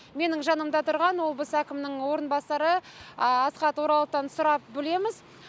менің жанымда тұрған облыс әкімінің орынбасары асхат ораловтан сұрап білеміз